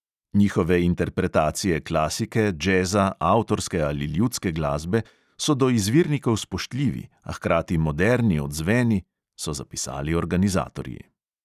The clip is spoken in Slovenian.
Njihove interpretacije klasike, džeza, avtorske ali ljudske glasbe so do izvirnikov spoštljivi, a hkrati moderni odzveni, so zapisali organizatorji.